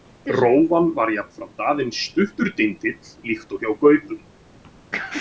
Rófan var jafnframt aðeins stuttur dindill líkt og hjá gaupum.